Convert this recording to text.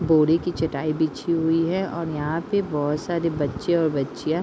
बोरी की चटाई बीछी हुई है और यहाँ पे बहोत सारे बच्चे और बच्चियां --